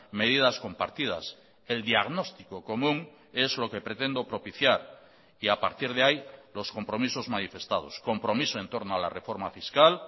medidas compartidas el diagnóstico común es lo que pretendo propiciar y a partir de ahí los compromisos manifestados compromiso en torno a la reforma fiscal